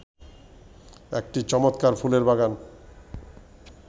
একটি চমৎকার ফুলের বাগান